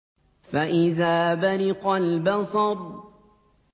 فَإِذَا بَرِقَ الْبَصَرُ